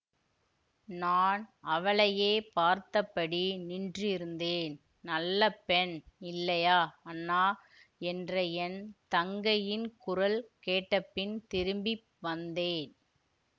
நான் அவளையே பார்த்தபடி நின்றிருந்தேன் நல்ல பெண் இல்லையா அண்ணா என்ற என் தங்கையின் குரல்கேட்ட பின் திரும்பி வந்தேன்